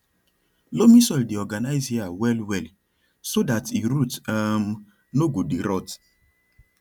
loamy soil dey organize air well well so that e root um no go dey rot